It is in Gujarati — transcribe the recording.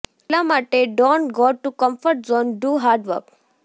એટલા માટે don't go to comfort zone do hard work